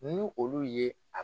Nu olu ye a